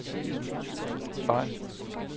fejl